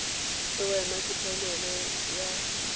le wena ke phanele ya